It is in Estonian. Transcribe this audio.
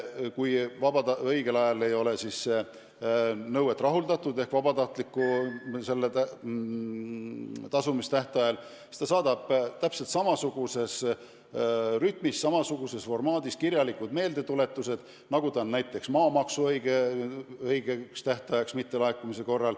Kui nõuet ei ole õigel ajal ehk vabatahtliku tasumise tähtajal rahuldatud, siis maksuamet saadab teatud ajal samasuguses vormis kirjalikud meeldetuletused, nagu näiteks maamaksu õigeks tähtajaks mittelaekumise korral.